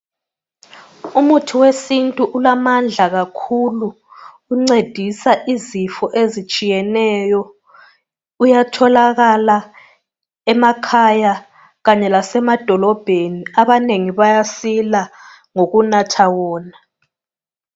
Umuthi wesintu ulamandla kakhulu ungcedisa izifo ezitshiyeneyo uyatholakala emakhaya kanye lasemadolobhedi abanengi bayasila ngokunatha wona